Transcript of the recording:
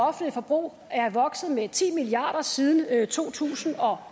offentlige forbrug er vokset med ti milliard kroner siden to tusind og